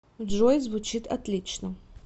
джой звучит отлично